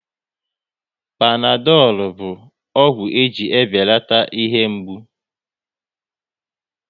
Panadolu bụ ọgwụ e ji ebelata ihe mgbu